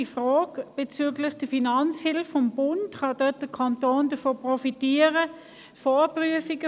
Bezüglich der Finanzhilfe des Bundes stellt sich noch die Frage, ob der Kanton davon profitieren könnte.